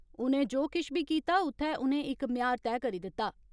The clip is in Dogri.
उनें जो किश बी कीता उत्थे उनें इक म्यार तय करी दित्ता।